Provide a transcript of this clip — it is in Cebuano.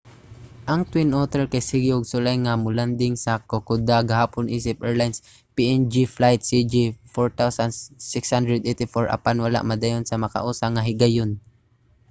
ang twin otter kay sige og sulay nga mo-landing sa kokoda gahapon isip airlines png flight cg 4684 apan wala madayon sa makausa nga higayon